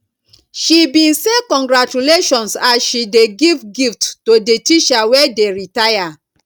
she bin say congratulations as she dey give gift to di teacher wey dey retire